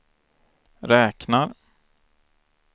räknar